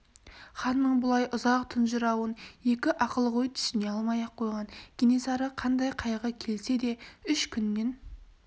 ханның бұлай ұзақ тұнжырауын екі ақылгөй түсіне алмай-ақ қойған кенесары қандай қайғы келсе де үш күннен